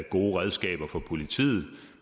gode redskaber for politiet